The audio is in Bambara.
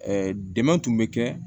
dɛmɛ tun bɛ kɛ